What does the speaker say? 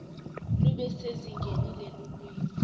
lube sezingeni lelulwimi